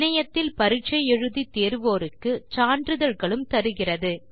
இணையத்தில் பரிட்சை எழுதி தேர்வோருக்கு சான்றிதழ்களும் தருகிறது